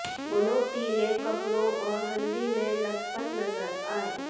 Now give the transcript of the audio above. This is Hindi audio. दोनों पीले कपड़ों और हल्दी में लतपत नजर आए